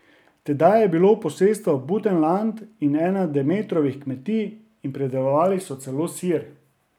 Tedaj je bilo posestvo Butenland ena Demetrovih kmetij in pridelovali so celo sir.